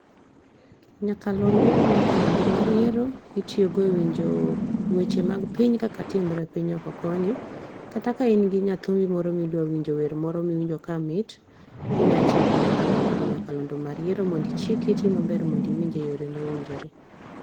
nyakalondo ni nyakalondi ni mar yiero itiyo go e winjo weche mag piny kaka timore e piny oko koni kata ka in g yathumi wer moro ma idwa winjo wer moro ma owinjo kamit inyalo tiyo gi nyakalondo ni nyakalondo mar yiero mondo ichik iti maber mondo iwinje e yo mowinjore.